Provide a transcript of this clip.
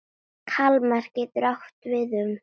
Kalmar getur átt við um